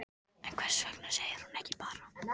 En hvers vegna segir hún ekki bara